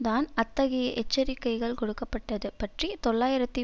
தான் அத்தகைய எச்சரிக்கைகள் கொடுக்க பட்டது பற்றி தொள்ளாயிரத்தி